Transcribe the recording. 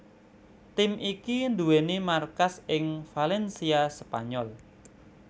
Tim iki nduwèni markas ing Valencia Spanyol